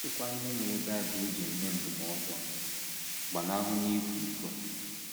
Ka a sịkwa ihe mere Bible ji enye ndụmọdụ a: Gbanahụnụ ịkwa iko